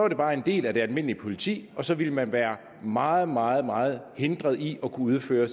det bare en del af det almindelige politi og så ville man være meget meget meget hindret i at kunne udføre